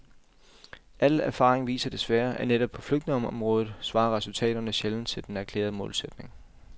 Al erfaring viser desværre, at netop på flygtningeområdet svarer resultaterne sjældent til den erklærede målsætning.